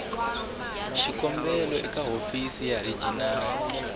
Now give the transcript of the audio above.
xikombelo eka hofisi ya regional